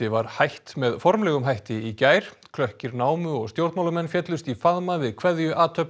var hætt með formlegum hætti í gær námu og stjórnmálamenn féllust í faðma við